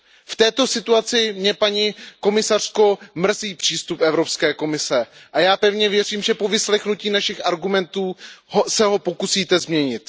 V této situaci mě, paní komisařko, mrzí přístup Evropské komise a já pevně věřím, že po vyslechnutí našich argumentů se ho pokusíte změnit.